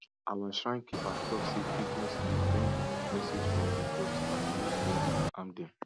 our shrine keeper tok say pigeons dey bring message from di gods and make we no harm them